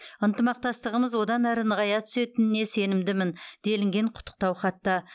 ынтымақтастығымыз одан әрі нығая түсетініне сенімдімін делінген құттықтау хатта